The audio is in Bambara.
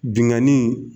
Binnkanni